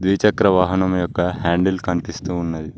ద్విచక్ర వాహనం యొక్క హ్యాండిల్ కనిపిస్తూ ఉన్నది.